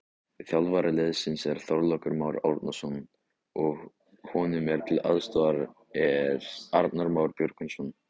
Þjálfari liðsins er Þorlákur Már Árnason og honum til aðstoðar er Arnar Már Björgvinsson.